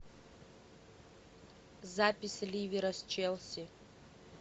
запись ливера с челси